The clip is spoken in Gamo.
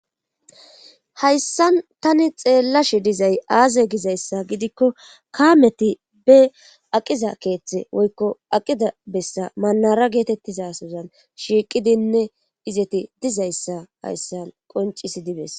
hayssan tani xeellashi dizay aaze gizayssa gidikko kaameti be aqiza keeththe woykko aqiza bessa manara geetettizasozan shiiqidinne izeti dizayssa hayssan qoncisidi beeses